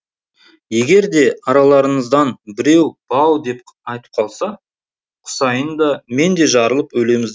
егер де араларыңыздан біреу бау деп айтып қалса құсайын да мен де жарылып өлеміз